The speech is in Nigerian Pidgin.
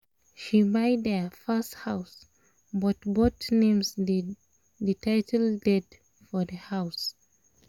she buy their first house but both names dey the title deed for the house